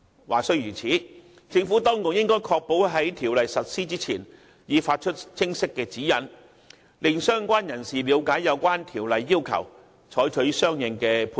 話雖如此，政府當局應確保在《條例草案》實施前已發出清晰指引，令相關人士了解有關《條例草案》的要求，採取相應行動以作出配合。